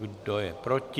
Kdo je proti?